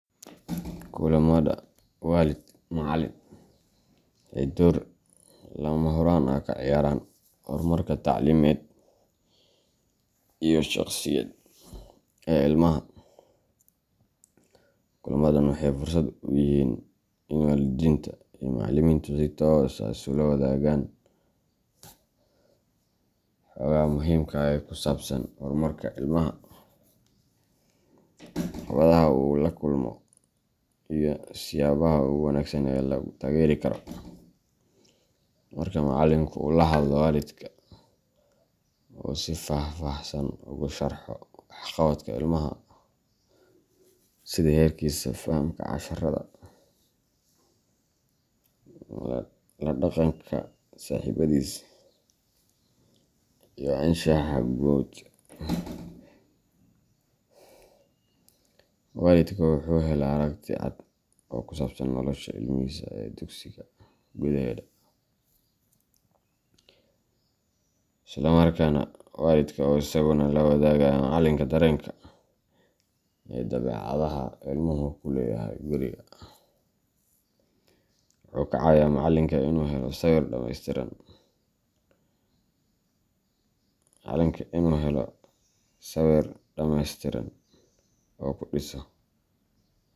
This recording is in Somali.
Kulamada waalid macallin waxay door lama huraan ah ka ciyaaraan horumarka tacliimeed iyo shakhsiyeed ee ilmaha. Kulamadan waxay fursad u yihiin in waalidiinta iyo macallimiintu si toos ah isula wadaagaan xogaha muhiimka ah ee ku saabsan horumarka ilmaha, caqabadaha uu la kulmo, iyo siyaabaha ugu wanaagsan ee lagu taageeri karo. Marka macallinka uu la hadlo waalidka oo uu si faahfaahsan ugu sharxo waxqabadka ilmaha sida heerkiisa fahamka casharrada, la dhaqanka saaxiibbadiis, iyo anshaxa guud waalidka wuxuu helaa aragti cad oo ku saabsan nolosha ilmihiisa ee dugsiga gudaheeda. Isla markaasna, waalidka oo isaguna la wadaaga macallinka dareenka iyo dabeecadaha ilmuhu ku leeyahay guriga, wuxuu ka caawiyaa macallinka inuu helo sawir dhameystiran oo ku dhiso.